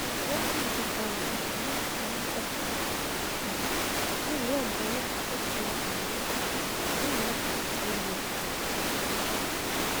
lótma ti fa ìbọn àti mọtò tí wọn gbà um náà lé ọgá ọlọpàá tẹsán ilásàn lọwọ fún ìwádìí tó péye um